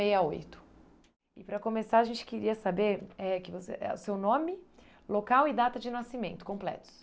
E para começar a gente queria saber eh que você ãh o seu nome, local e data de nascimento completos.